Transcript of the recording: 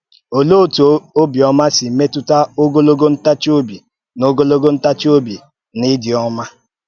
Òlee òtú ọ̀bịọ́mà sì mètúta ògòlògo ntàchì-òbì na ògòlògo ntàchì-òbì na ìdị́ ọ́mà?